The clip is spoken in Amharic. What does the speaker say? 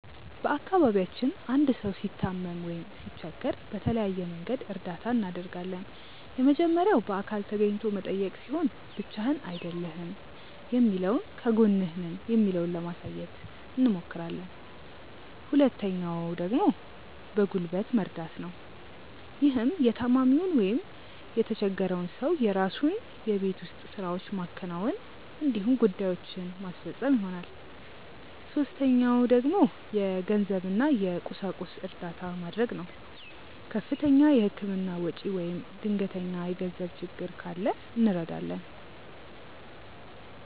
በአካባቢያችን አንድ ሰው ሲታመም ወይም ሲቸገር በተለያየ መንገድ እርዳታ እናደርጋለን። የመጀመሪያው በአካል ተገኝቶ መጠየቅ ሲሆን ብቻህን አይደለህም የሚለውን ከጎንህ ነን የሚለውን ለማሳየት አብሞክራለን። ሁለተኛው ደግሞ በጉልበት መርደት ነው። ይህም የታማሚውን ወይም የተቸፈረውን ሰው የራሱን የቤት ውስጥ ስራዎች ማከናወን እንዲሁም ጉዳዬችን ማስፈፀን ይሆናል። ሶስተኛው ደግሞ የገንዘብ እና የቁሳቁስ እርዳታ መድረግ ነው። ከፍተኛ የህክምና ወጪ ወይም ድንገተኛ የገንዘብ ችግር ካለ እንረዳለን።